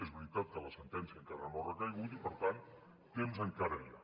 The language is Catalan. és veritat que la sentència encara no ha recaigut i per tant temps encara hi ha